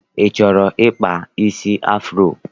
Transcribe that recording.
I chọrọ ịkpa isi afuro?